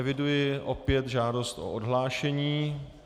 Eviduji opět žádost o odhlášení.